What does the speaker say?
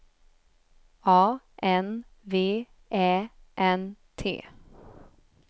A N V Ä N T